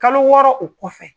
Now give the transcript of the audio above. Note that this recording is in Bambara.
Kalo wɔɔrɔ o kɔfɛ.